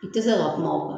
I tɛ se ka kuma o kan